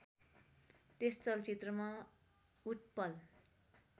त्यस चलचित्रमा उत्पल